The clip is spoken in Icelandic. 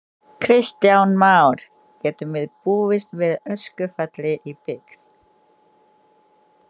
Kristján Már: Getum við búist við öskufalli í byggð?